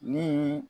Ni